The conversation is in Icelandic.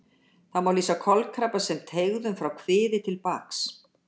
Það má lýsa kolkrabba sem teygðum frá kviði til baks.